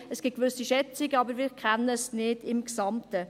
Es gibt gewisse Schätzungen, aber wir kennen es nicht im Gesamten.